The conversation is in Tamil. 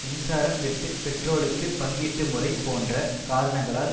மின்சாரம் வெட்டு பெட்ரோலுக்கு பங்கீட்டுமுறை போன்ற காரணங்களால்